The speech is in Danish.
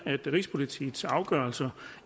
at rigspolitiets afgørelser